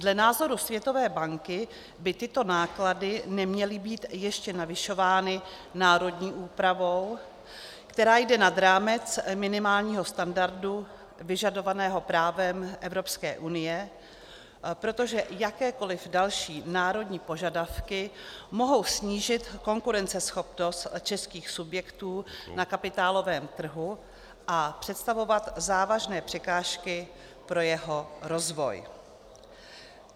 Dle názoru Světové banky by tyto náklady neměly být ještě navyšovány národní úpravou, která jde nad rámec minimálního standardu vyžadovaného právem Evropské unie, protože jakékoliv další národní požadavky mohou snížit konkurenceschopnost českých subjektů na kapitálovém trhu a představovat závažné překážky pro jeho rozvoj.